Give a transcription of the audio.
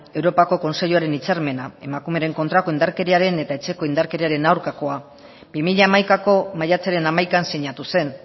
europako kontseiluaren hitzarmena emakumearen kontrako indarkeriaren eta etxeko indarkeriaren aurkakoa bi mila hamaikako maiatzaren hamaikan sinatu zen